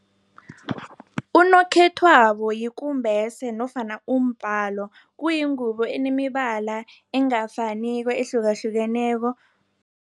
Unokhethwabo yikumbese nofana umbhalo. Kuyingubo enemibala engafaniko ehlukahlukeneko.